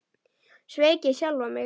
Sveik ég sjálfan mig?